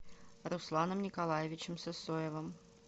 русланом николаевичем сысоевым